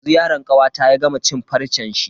Dazu yaron kawata ya gama cin farcen shi.